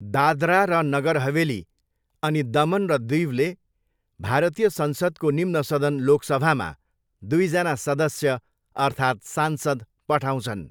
दादरा र नगर हवेली अनि दमन र दीवले भारतीय संसदको निम्न सदन लोकसभामा दुईजना सदस्य अर्थात् सांसद पठाउँछन्।